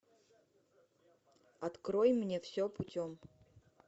открой мне все путем